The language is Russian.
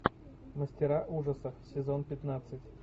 мастера ужасов сезон пятнадцать